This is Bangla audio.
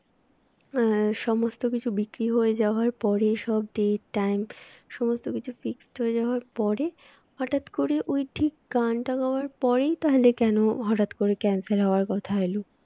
আহ সমস্ত ticket বিক্রি হয়ে যাওয়ার পরে সব date time সমস্ত কিছু Fixed হয়ে যাওয়ার পরে হঠাৎ করে ওই ঠিক গানটা গাওয়ার পরেই তাহলে কেন হঠাৎ করে cancel হওয়ার কথা এল